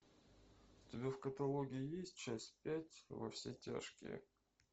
у тебя в каталоге есть часть пять во все тяжкие